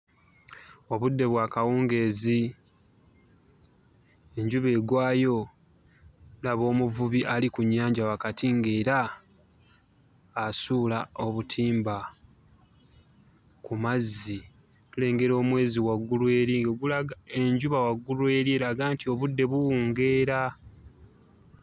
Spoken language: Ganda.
Obudde bwa kawungeezi, enjuba egwayo, laba omuvubi ali ku nnyanja wakati ng'era asuula obutimba ku mazzi. Tulengera omwezi waggulu eri ogulaga enjuba waggulu eri eraga nti obudde buwungeera.